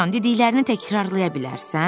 Dovşan, dediklərini təkrarlaya bilərsən?